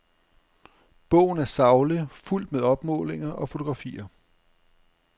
Bogen er saglig, fuldt med opmålinger og fotografier.